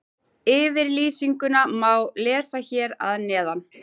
Yfirlýsinguna má lesa hér að neðan.